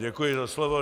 Děkuji za slovo.